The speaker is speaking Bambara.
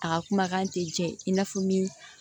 A ka kumakan tɛ jɛ i n'a fɔ min